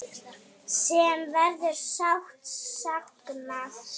Sem verður sárt saknað.